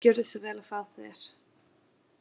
Gjörðu svo vel að fá þér.